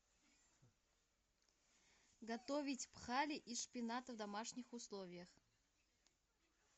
готовить пхали из шпината в домашних условиях